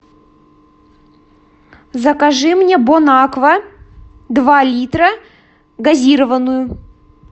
закажи мне бон аква два литра газированную